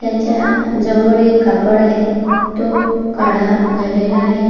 त्याच्या जवळ एक कापड आहे तो काळा झालेला आहे.